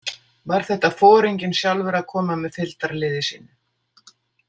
Var þetta foringinn sjálfur að koma með fylgdarliði sínu?